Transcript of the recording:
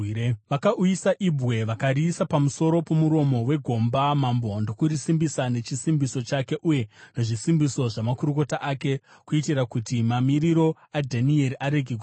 Vakauyisa ibwe vakariisa pamusoro pomuromo wegomba, mambo ndokurisimbisa nechisimbiso chake uye nezvisimbiso zvamakurukota ake, kuitira kuti mamiriro aDhanieri arege kushandurwa.